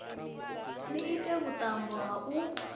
ni ite vhuṱambo ha u